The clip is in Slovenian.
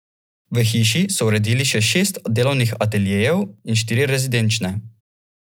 V hiši so uredili še šest delovnih ateljejev in štiri rezidenčne.